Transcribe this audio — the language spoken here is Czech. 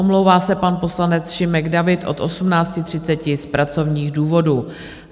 Omlouvá se pan poslanec Šimek David od 18.30 z pracovních důvodů.